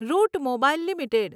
route Mobile limited